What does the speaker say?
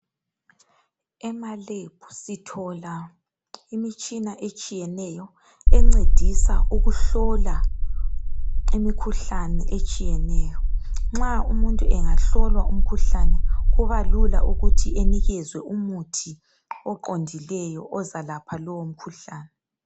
Emalebhu sithola imitshina etshiyeneyo encedisa ukuhlola imikhuhlane etshiyeneyo, nxa umuntu engahlolwa umkhuhlane kubalula ukuthi enikezwe umuthi oqondileyo ozalapha lowo mkhuhlane.